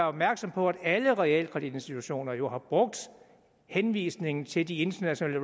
opmærksom på at alle realkreditinstitutioner jo har brugt henvisningen til de internationale